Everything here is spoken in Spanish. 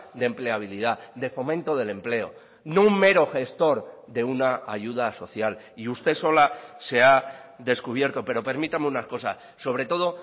de empleabilidad de fomento del empleo no un mero gestor de una ayuda social y usted sola se ha descubierto pero permítame una cosa sobre todo